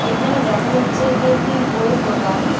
এখানে দেখা যাচ্ছে এটি একটি বইয়ের দোকান.